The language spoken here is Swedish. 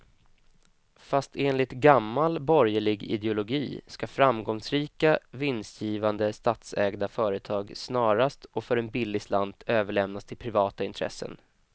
Fast enligt gammal borgerlig ideologi ska framgångsrika, vinstgivande statsägda företag snarast och för en billig slant överlämnas till privata intressen.